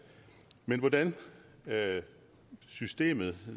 men hvordan systemet